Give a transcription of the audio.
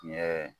Tiɲɛ